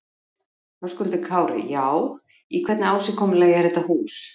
Höskuldur Kári: Já, í hvernig ásigkomulagi er þetta hús?